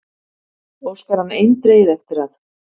Óskar hann eindregið eftir að